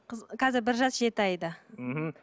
қазір бір жас жеті айда мхм